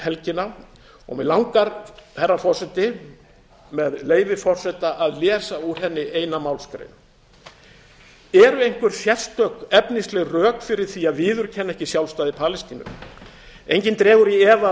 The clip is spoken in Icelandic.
helgina og mig langar herra forseti með leyfi forseta að lesa úr henni eina málsgrein eru einhver sérstök efnisleg rök fyrir því að viðurkenna ekki sjálfstæði palestínu enginn dregur í efa